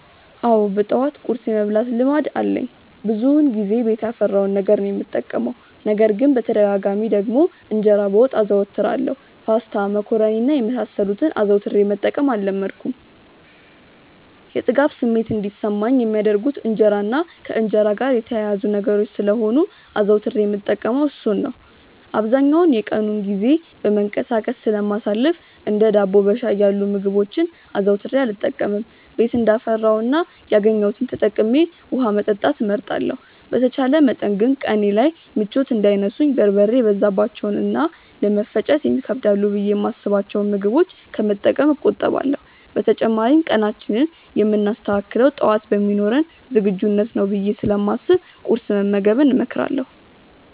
አዎ በጠዋት ቁርስ የመብላት ልማድ አለኝ። ብዙውን ጊዜ ቤት ያፈራውን ነገር ነው የምጠቀመው። ነገር ግን በተደጋጋሚ ደግሞ እንጀራ በወጥ አዘወትራለሁ። ፓስታ፣ መኮሮኒ እና የመሳሰሉትን አዘውትሬ መጠቀም አልለመድኩም። የጥጋብ ስሜት እንዲሰማኝ የሚያደርጉት እንጀራ እና ከእንጀራ ጋር የተያያዙ ነገሮች ስለሆኑ አዘውትሬ የምጠቀመው እርሱን ነው። አብዛኛውን የቀኑን ጊዜ በመንቀሳቀስ ስለማሳልፍ እንደ ዳቦ በሻይ ያሉ ምግቦችን አዘውትሬ አልጠቀምም። ቤት እንዳፈራው እና ያገኘሁትን ተጠቅሜ ውሀ መጠጣት እመርጣለሁ። በተቻለ መጠን ግን ቀኔ ላይ ምቾት እንዳይነሱኝ በርበሬ የበዛባቸውን እና ለመፈጨት ይከብዳሉ ብዬ የማስብቸውን ምግቦች ከመጠቀም እቆጠባለሁ። በተጨማሪም ቀናችንን የምናስተካክለው ጠዋት በሚኖረን ዝግጁነት ነው ብዬ ስለማስብ ቁርስ መመገብን እመክራለሁ።